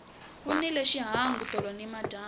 ku nile xihangu tolo nimadyambu